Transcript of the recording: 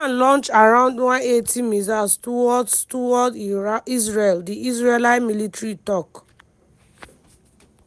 iran launch around 180 missiles towards towards israel di israeli military tok.